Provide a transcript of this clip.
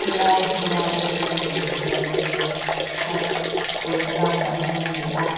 helai hmuna tih inziak hi thla pawisa lakchhuahna hmun ani a.